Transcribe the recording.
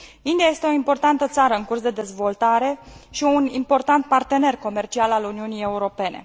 India este o importantă țară în curs de dezvoltare și un important partener comercial al Uniunii Europene.